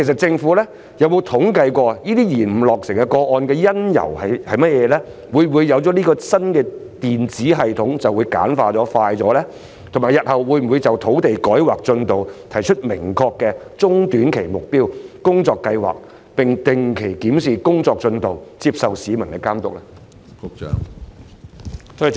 政府有否統計單位延誤落成的原因；會否引入新的電子系統以簡化及加快審批程序；以及日後會否就土地改劃進度提出明確的中短期目標及工作計劃，並定期檢視工作進度及接受市民的監督？